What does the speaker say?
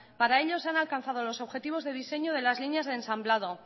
para ello se han alcanzado los objetivos de diseño de las líneas de ensamblado